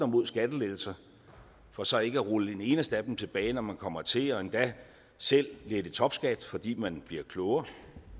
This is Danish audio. mod skattelettelser for så ikke at rulle en eneste af dem tilbage når man kommer til og endda selv lette topskatten fordi man bliver klogere